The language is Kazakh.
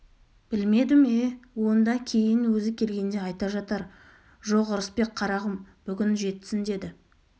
білмедім е онда кейін өзі келгенде айта жатар жоқ ырысбек қарағым бүгін жетсін деді